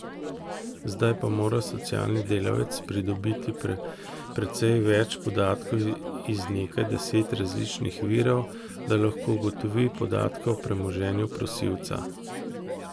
Zdaj pa mora socialni delavec pridobiti precej več podatkov iz nekaj deset različnih virov, da lahko ugotovi podatke o premoženju prosilca.